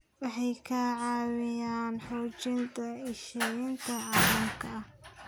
Waxay ka caawiyaan xoojinta iskaashiga caalamiga ah.